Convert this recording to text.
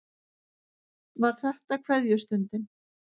Var þetta kveðjustundin?